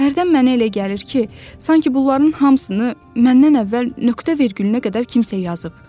Hərdən mənə elə gəlir ki, sanki bunların hamısını məndən əvvəl nöqtə-vergülünə qədər kimsə yazıb.